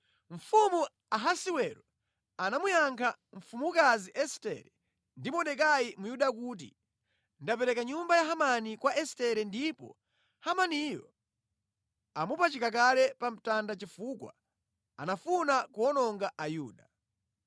Mfumu Ahasiwero anamuyankha mfumukazi Estere ndi Mordekai Myuda kuti, “Ndapereka nyumba ya Hamani kwa Estere ndipo Hamaniyo amupachika kale pa mtanda chifukwa anafuna kuwononga Ayuda.